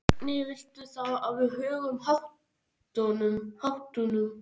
Hvernig viltu þá að við högum háttunum?